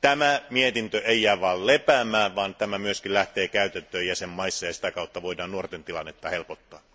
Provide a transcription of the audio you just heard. tämä mietintö ei jää vain lepäämään, vaan se myös pannaan täytäntöön jäsenvaltioissa ja sitä kautta voidaan helpottaa